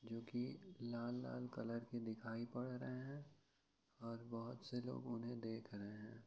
जो की लाल लाल कलर के दिखायी पड़ रहे हैं और बहुत से लोग उन्हे दे रहे हैं ।